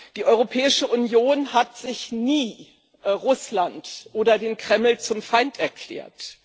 Die Europäische Union hat sich nie Russland oder den Kreml zum Feind erklärt.